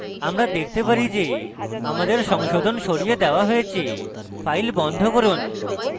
আমরা দেখতে পারি যে আমাদের সংশোধন সরিয়ে দেওয়া হয়েছে files বন্ধ করুন